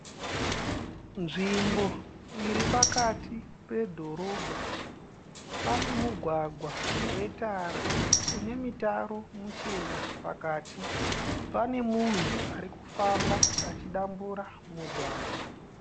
Nzvimbo iri pakati pedhorobha. Pane mugwagwa wetara une mitaro muchena pakati. Pane munhu ari kufamba achidambura mugwagwa.